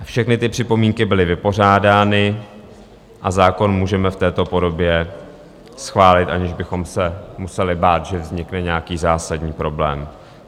Všechny ty připomínky byly vypořádány a zákon můžeme v této podobě schválit, aniž bychom se museli bát, že vznikne nějaký zásadní problém.